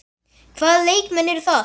Hvaða leikmenn eru það?